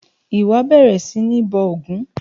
Wà á bẹ̀rẹ̀ sí ní bọ ògún!